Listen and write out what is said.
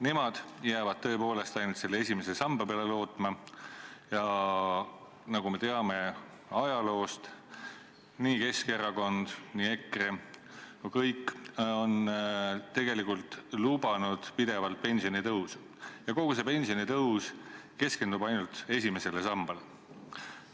Nemad jäävad lootma tõepoolest ainult selle esimese samba peale ja nagu me ajaloost teame, on nii Keskerakond, EKRE kui ka kõik teised pidevalt lubanud pensionitõusu, kusjuures kogu see pensionitõus on keskendunud ainult esimesele sambale.